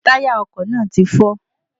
Táyà ọkò náà ti fọ́